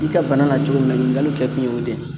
I ka bana na cogo min na ɲininkaliw kɛkun ye o de ye